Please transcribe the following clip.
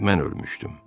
Mən ölmüşdüm.